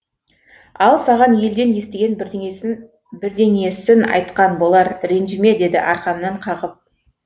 ал саған елден естіген бірдеңесін бірдеңесін айтқан болар ренжіме деді арқамнан қағып